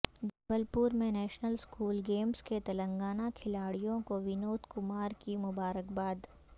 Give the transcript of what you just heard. جبل پور میں نیشنل اسکول گیمس کے تلنگانہ کھلاڑیوں کو ونود کمار کی مبارکباد